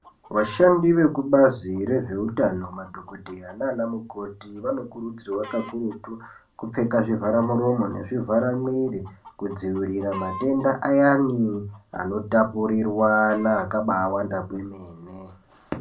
Vashandi vezvekubazi reutano madhokodheya nana mukoti vanokurudzirwa kakurutu kupfeka zvivaramuromo nezvivharamwiri kudzivirira matenda ayani ano tapurirwana akabaawanda kwemene.